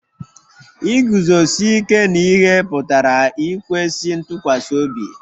Iguzosi ike n'ihe pụtara ikwesị ntụkwasị obi